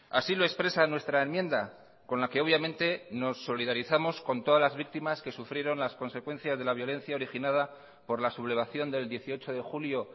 así lo expresa nuestra enmienda con la que obviamente nos solidarizamos con todas las víctimas que sufrieron las consecuencias de la violencia originada por la sublevación del dieciocho de julio